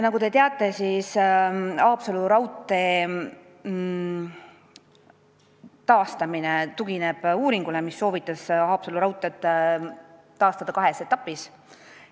Nagu te teate, Haapsalu raudtee taastamine tugineb uuringule, mis soovitas Haapsalu raudtee taastada kahes etapis.